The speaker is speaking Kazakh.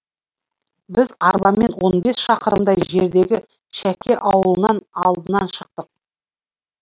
біз арбамен он бес шақырымдай жердегі шәке ауылынан алдынан шықтық